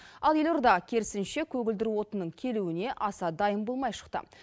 ал елорда керісінше көгілдір отынның келуіне аса дайын болмай шықты